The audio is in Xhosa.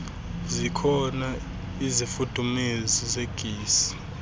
zikhona izifudumezi zegesi